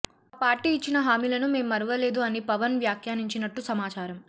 మా పార్టీ ఇఛ్చిన హామీలను మేం మరువలేదు అని పవన్ వ్యాఖ్యానించినట్టు సమాచారం